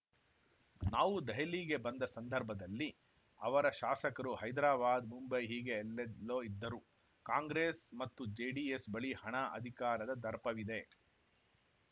ನಾವು ದೆಹಲಿಗೆ ಬಂದ ಸಂದರ್ಭದಲ್ಲಿ ಅವರ ಶಾಸಕರು ಹೈದಾರಾಬಾದ್‌ ಮುಂಬೈ ಹೀಗೆ ಎಲ್ಲೆಲ್ಲೋ ಇದ್ದರು ಕಾಂಗ್ರೆಸ್‌ ಮತ್ತು ಜೆಡಿಎಸ್‌ ಬಳಿ ಹಣ ಅಧಿಕಾರದ ದರ್ಪವಿದೆ